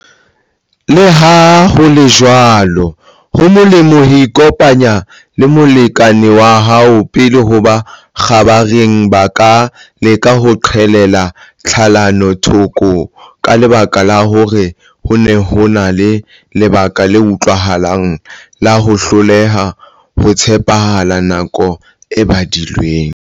Leha ho le jwalo, ho molemo ho ikopanya le molekane wa hao pele hobane kgabareng ba ka leka ho qhelela tlhalano thoko ka lebaka la hore ho ne ho na le lebaka le utlwahalang la ho hloleha ho tshepahalla nako e badilweng.